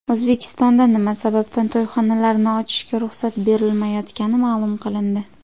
O‘zbekistonda nima sababdan to‘yxonalarni ochishga ruxsat berilmayotgani ma’lum qilindi.